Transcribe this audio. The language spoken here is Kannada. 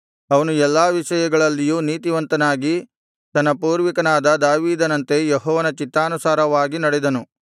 ಅವನು ಎಲ್ಲಾ ವಿಷಯಗಳಲ್ಲಿಯೂ ನೀತಿವಂತನಾಗಿ ತನ್ನ ಪೂರ್ವಿಕನಾದ ದಾವೀದನಂತೆ ಯೆಹೋವನ ಚಿತ್ತಾನುಸಾರವಾಗಿ ನಡೆದನು